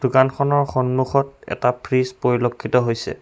খনৰ সন্মুখত এটা ফ্ৰীজ পৰিলক্ষিত হৈছে।